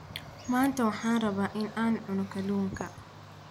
maanta waxaan rabaa in aan cuno kalluunka